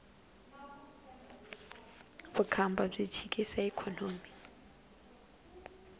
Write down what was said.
vukhamba byi chikisa ikhonomi